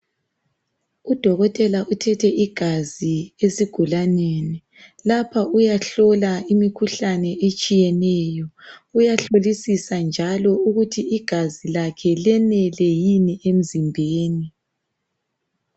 Udokotela uthethe igazi esigulaneni. Lapha uyahlola imikhuhlane etshiyeneyo. Uyahlolisisa njalo ukuthi igazi lakhe lenele yini emzimbeni.